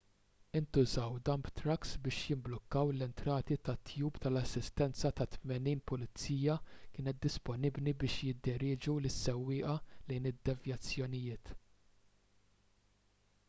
intużaw dump trucks biex jimblukkaw l-entrati tat-tube u l-assistenza ta' 80 pulizija kienet disponibbli biex jidderieġu lis-sewwieqa lejn id-devjazzjonijiet